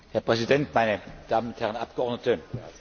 Herr Präsident, meine Damen und Herren Abgeordnete!